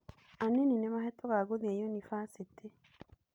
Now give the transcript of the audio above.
Anini nĩ mahetũkaga gũthiĩ ũnibathĩtĩ.